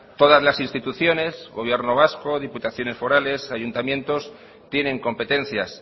todas las instituciones gobierno vasco diputaciones forales ayuntamientos tienen competencias